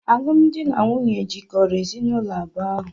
Alụmdi na nwunye jikọrọ ezinụlọ abụọ ahụ.